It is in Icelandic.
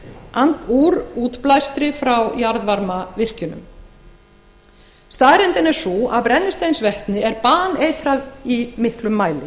brennisteinsvetnið úr útblæstri frá jarðvarmavirkjunum staðreyndin er sú að brennisteinsvetni er baneitrað í miklum mæli